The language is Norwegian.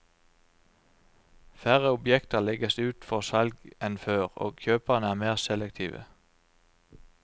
Færre objekter legges ut for salg enn før, og kjøperne er mer selektive.